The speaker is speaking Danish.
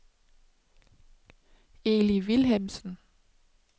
Eli Vilhelmsen